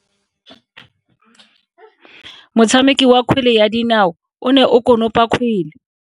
Motshameki wa kgwele ya dinao o ne a konopa kgwele.